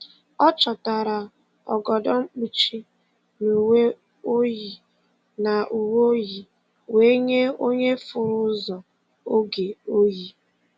Ọ chọtara ogodo mkpuchi na uwe oyi na uwe oyi wee nye onye furu ụzọ oge oyi.